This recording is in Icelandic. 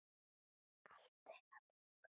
Allt til loka.